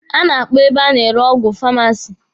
A na-akpọ ebe a na-ere ọgwụ famasi.